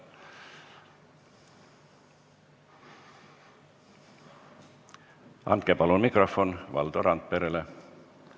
Andke palun mikrofon Valdo Randperele!